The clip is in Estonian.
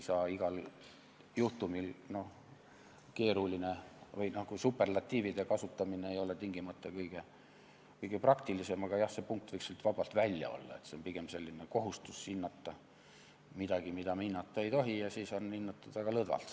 Superlatiivide kasutamine ei ole tingimata kõige praktilisem, aga jah, see punkt võiks sealt vabalt välja jääda, see on pigem selline kohustus hinnata midagi, mida me hinnata ei tohi, ja siis on seda hinnatud väga lõdvalt.